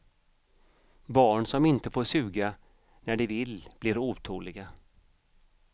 Barn som inte får suga när de vill blir otåliga.